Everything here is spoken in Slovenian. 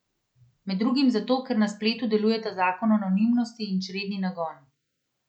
Med drugim zato, ker na spletu delujeta zakon anonimnosti in čredni nagon.